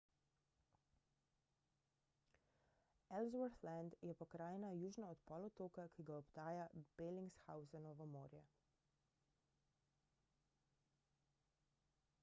ellsworth land je pokrajina južno od polotoka ki ga obdaja bellingshausenovo morje